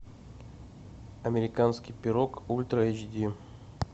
американский пирог ультра эйч ди